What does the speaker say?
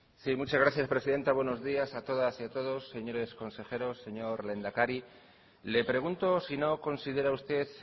sí muchas gracias presidenta buenos días a todas y a todos señores consejeros señor lehendakari le pregunto si no considera usted